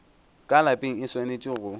ka lapeng e swanetše go